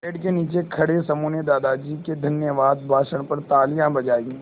पेड़ के नीचे खड़े समूह ने दादाजी के धन्यवाद भाषण पर तालियाँ बजाईं